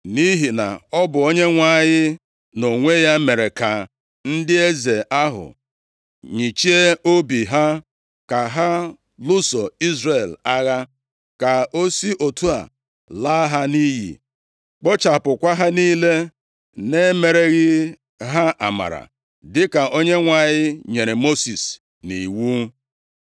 Nʼihi na ọ bụ Onyenwe anyị, nʼonwe ya, mere ka ndị eze ahụ nyịchie obi ha, ka ha lụso Izrel agha, ka o si otu a laa ha nʼiyi, kpochapụkwa ha niile, na-emereghị ha amara, dịka Onyenwe anyị nyere Mosis nʼiwu.